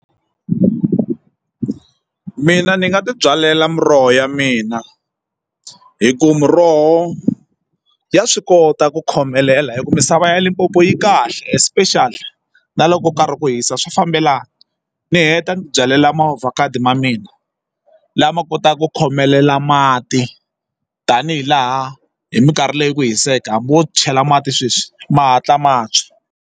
Mina ni nga ti byalela muroho ya mina hi ku miroho ya swi kota ku khomelela hi ku misava ya Limpopo yi kahle especially na loko ka hi ku hisa swa fambelana ni heta ni ti byalela ma ovhakhado ma mina lama kotaka ku khomelela mati tanihi laha hi mikarhi leyi ku hiseke hambi wo chela mati sweswi ma hatla ma tshwa.